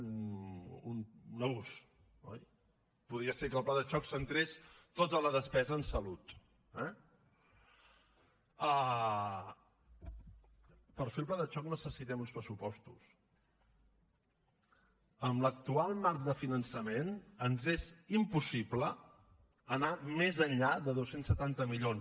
un abús oi podia ser que el pla de xoc centrés tota la despesa en salut eh per fer el pla de xoc necessitem uns pressupostos amb l’actual marc de finançament ens és impossible anar més enllà de dos cents i setanta milions